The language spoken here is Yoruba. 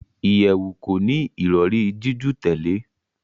ìyèwù koni Ìrọ̀rí jiju tèlé.